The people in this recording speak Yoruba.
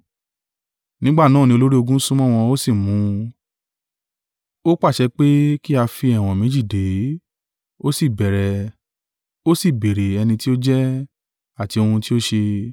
Nígbà náà ni olórí ogun súnmọ́ wọn, ó sì mú un, ó pàṣẹ pé kí a fi ẹ̀wọ̀n méjì dè é; ó sì béèrè ẹni tí ó jẹ́, àti ohun tí ó ṣe.